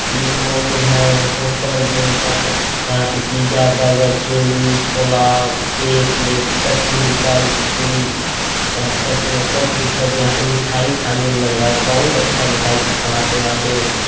ये मॉल है hotel room पर पर। यहां पे पिज्जा बर्गर चौमीन छोला केक वेक सब चीज मिलता है लिट्टी। यहां पर सब चीज उपलब्ध हैं। सच यहां के मिठाई खाने मे लग रहा है बहुत अच्छा मिठाई बनाते है यहां पे।